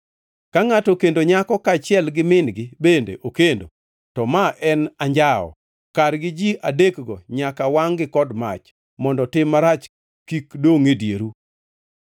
Ka ngʼato okendo nyako kaachiel gi min-gi bende okendo, to ma en anjawo. Kargi ji adekgo nyaka wangʼ-gi kod mach, mondo tim marach kik dongʼ e dieru.